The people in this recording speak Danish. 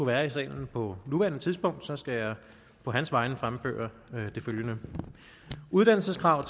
være i salen på nuværende tidspunkt skal jeg på hans vegne fremføre det følgende uddannelseskrav